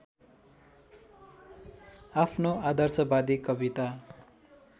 आफ्नो आदर्शवादी कविता